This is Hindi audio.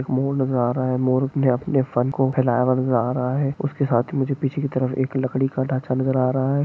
मोर नजर आ रहा है। मोर अपने फन को फिलहाल जा रहा है। उसके साथ मुझे पीछे की तरफ एक लकड़ी का ढांचा नजर आ रहा है।